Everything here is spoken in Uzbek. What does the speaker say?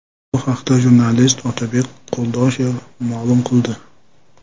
Bu haqda jurnalist Otabek Qo‘ldoshev ma’lum qildi.